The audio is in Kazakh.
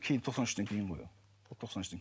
кейін тоқсан үштен кейін ғой ол ол тоқсан үштен